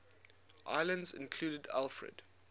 islands included alfred